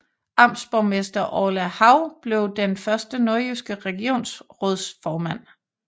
Amtsborgmester Orla Hav blev den første nordjyske regionsrådsformand